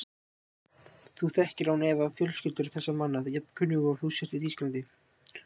Þú þekkir án efa fjölskyldur þessara manna, jafn kunnugur og þú ert í Þýskalandi.